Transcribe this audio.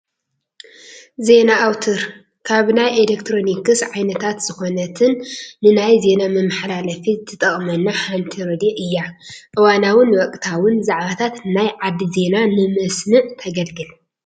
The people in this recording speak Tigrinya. ዜና ኣውትር፡- ካብ ናይ ኤሌክትሮኒክስ ዓይነታት ዝኾነትን ንናይ ዜና መመሓላለፊ ትጠቕመና ሓንቲ ሬድዮ እያ፡፡ እዋናውን ወቕታውን ዛዕባታት ናይ ዓዲ ዜና ንመስማዕ ተገልግል፡፡